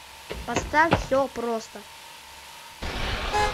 поставь все просто